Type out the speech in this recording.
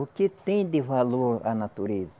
O que tem de valor a natureza?